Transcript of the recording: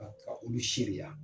Ka taga olu seeriya.